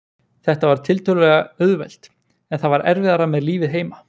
Þetta var tiltölulega auðvelt, en það var erfiðara með lífið heima.